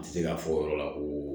A tɛ se ka fɔ o yɔrɔ la ko